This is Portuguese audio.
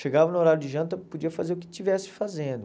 Chegava no horário de janta, podia fazer o que estivesse fazendo.